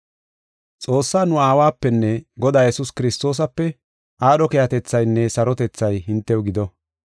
Xoossaa nu Aawapenne Godaa Yesuus Kiristoosape, aadho keehatethaynne sarotethay hintew gido.